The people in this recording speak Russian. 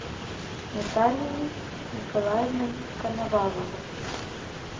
наталией николаевной коноваловой